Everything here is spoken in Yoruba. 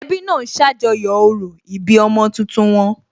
Ẹbí náà ń ṣàjọyọ̀ orò ìbí ọmọ tuntun wọn